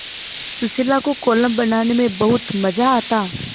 सुशीला को कोलम बनाने में बहुत मज़ा आता